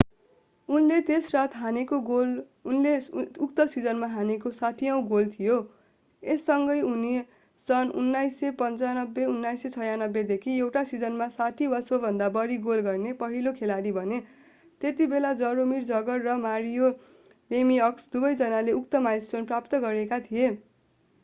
उनले त्यस रात हानेको दोस्रो गोल उनले उक्त सिजनमा हानेको 60औँ गोल थियो यससँगै उनी सन् 1995-1996 देखि एउटा सिजनमा 60 वा सोभन्दा बढी गोल गर्ने पहिलो खेलाडी बने त्यतिबेला जरोमिर जगर र मारियो लेमिअक्स दुवै जनाले उक्त माइलस्टोन प्राप्त गरेका थिए